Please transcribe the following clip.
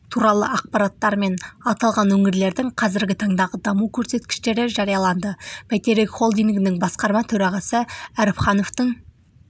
туралы ақпараттар мен аталған өңірлердің қазіргі таңдағы даму көрсеткіштері жарияланды бәйтерек холдингінің басқарма төрағасы әріпхановтың